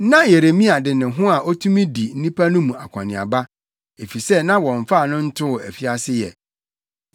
Na Yeremia de ne ho a otumi di nnipa no mu akɔneaba, efisɛ na wɔmfaa no ntoo afiase ɛ.